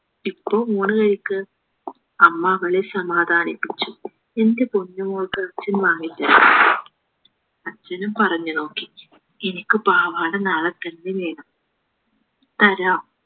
ഇപ്പൊ ഊണ് കഴിക്ക അമ്മ അവളെ സമാധാനിപ്പിച്ചു എന്റെ പോഞ്ചുമോൾക്ക് അച്ഛൻ വാങ്ങിത്തരും അച്ഛനും പറഞ്ഞു നോക്കി എനിക്ക് പാവാട നാളെ തന്നെ വേണം തരാം